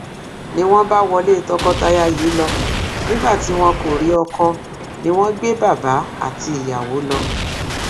ni wọn bá wọlé tọkọtaya yìí lọ nígbà tí wọn kò rí ọkọ ni wọn gbé bàbá àti ìyàwó lọ